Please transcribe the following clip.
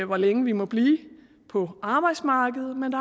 hvor længe vi må blive på arbejdsmarkedet men